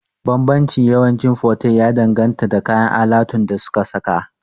Banbancin yawanci fotel ya danganta da kayan alatun da suka saka